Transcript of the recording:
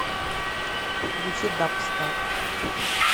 включи дабстар